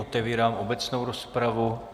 Otevírám obecnou rozpravu.